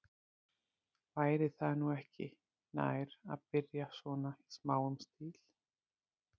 Væri það nú ekki nær, að byrja svona í smáum stíl?